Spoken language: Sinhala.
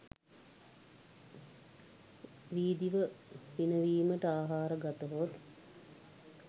වී දිව පිනවීමට ආහාර ගතහොත්